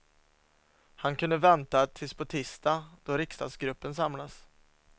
Han kunde väntat tills på tisdag då riksdagsgruppen samlas.